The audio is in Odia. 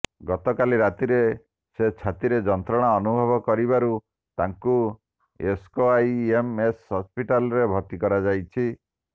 ଗତକାଲି ରାତିରେ ସେ ଛାତିରେ ଯନ୍ତ୍ରଣା ଅନୁଭବ କରିବାରୁ ତାଙ୍କୁ ଏସ୍କେଆଇଏମ୍ଏସ୍ ହସ୍ପିଟାଲ୍ରେ ଭର୍ତ୍ତି କରାଯାଇଛି